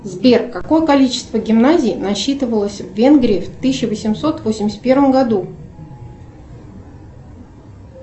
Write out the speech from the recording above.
сбер какое количество гимназий насчитывалось в венгрии в тысяча восемьсот восемьдесят первом году